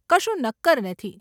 કશું નક્કર નથી.